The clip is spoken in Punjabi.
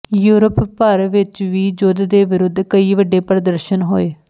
ਯੂਰਪ ਭਰ ਵਿਚ ਵੀ ਯੁੱਧ ਦੇ ਵਿਰੁੱਧ ਕਈ ਵੱਡੇ ਪ੍ਰਦਰਸ਼ਨ ਹੋਏ